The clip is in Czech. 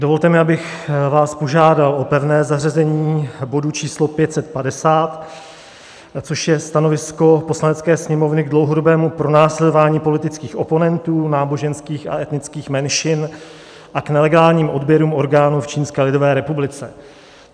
Dovolte mi, abych vás požádal o pevné zařazení bodu číslo 550, což je stanovisko Poslanecké sněmovny k dlouhodobému pronásledování politických oponentů, náboženských a etnických menšin a k nelegálním odběrům orgánů v Čínské lidové republice.